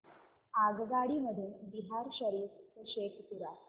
आगगाडी मधून बिहार शरीफ ते शेखपुरा